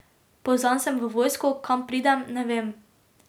Pozvan sem v vojsko, kam pridem, ne vem.